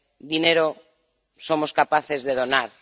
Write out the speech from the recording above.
Dinero, somos capaces de donar.